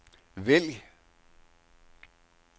vælg